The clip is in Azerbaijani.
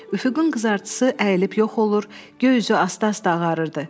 Üfüqün qızartısı əyilib yox olur, göy üzü asta-asta ağarırdı.